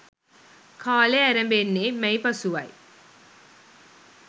කාලය ඇරඹෙන්නේ මැයි පසුවයි.